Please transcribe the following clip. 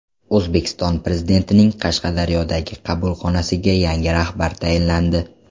O‘zbekiston Prezidentining Qashqadaryodagi qabulxonasiga yangi rahbar tayinlandi.